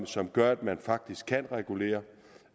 som gør at man faktisk kan regulere